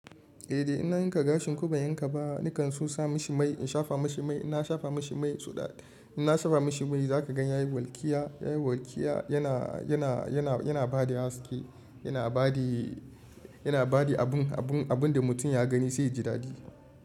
Eh, da ina yanka gashi ku ban yanka ba, nakan sa mashi mai in shafa mashi mai. Ina shafa mashi mai, suna ina shafa mashi mai za ka gan ya yi walƙiya, ya yi walƙiya yana, yana, yana, yana ba da haske, yana ba da, yana ba da abun, abun, abun da mutum ya gani zai ji daɗi.